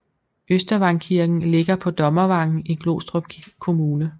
Østervangkirken ligger på Dommervangen i Glostrup Kommune